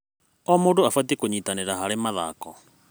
O mũndũ abatiĩ kũnyitanĩra harĩ mathako